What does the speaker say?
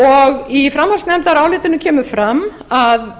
og í framhaldsnefndarálitinu kemur fram að